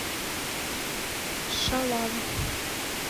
шалава